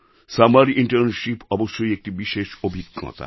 summer internship অবশ্যই একটি বিশেষ অভিজ্ঞতা